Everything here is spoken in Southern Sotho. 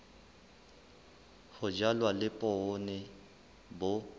ho jalwa le poone bo